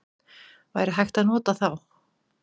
Væri hægt að nota þá?